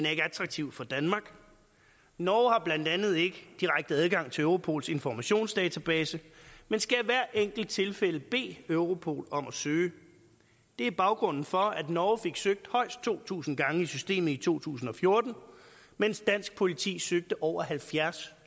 attraktiv for danmark norge har blandt andet ikke direkte adgang til europols informationsdatabase men skal i hvert enkelt tilfælde bede europol om at søge det er baggrunden for at norge fik søgt højst to tusind gange i systemet i to tusind og fjorten mens dansk politi søgte over halvfjerdstusind